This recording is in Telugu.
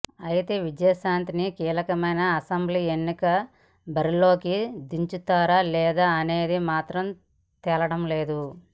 అయితే విజయశాంతిని కీలకమైన అసెంబ్లీ ఎన్నికల బరిలోకి దించుతారా లేదా అనేది మాత్రం తేలడంలేదు